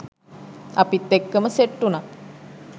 අපිත් එක්කම සෙට් උනා